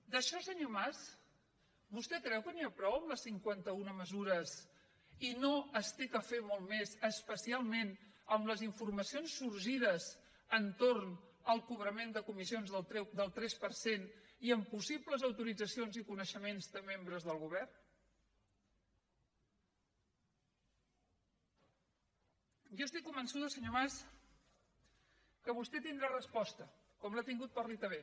d’això senyor mas vostè creu que n’hi ha prou amb les cinquanta una mesures i no s’ha de fer molt més especialment amb les informacions sorgides entorn del cobrament de comissions del tres per cent i amb possibles autoritzacions i coneixements de membres del govern jo estic convençuda senyor mas que vostè hi tindrà resposta com l’ha tingut per a la itv